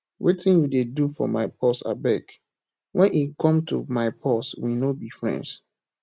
wetin you dey do for my purse abeg wen e come to my purse we no be friends